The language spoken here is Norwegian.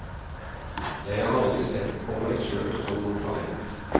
Jeg har aldri sett på meg sjøl som noe talent.